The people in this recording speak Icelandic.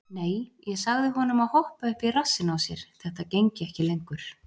Nei, ég sagði honum að hoppa upp í rassinn á sér, þetta gengi ekki lengur.